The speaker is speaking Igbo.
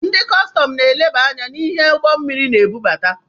Ndị kọstọm na-eleba anya na-ihe ụgbọ mmiri na-ebubata.